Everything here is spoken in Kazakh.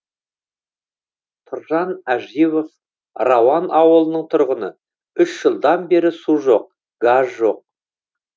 тұржан әживов рауан ауылының тұрғыны үш жылдан бері су жоқ газ жоқ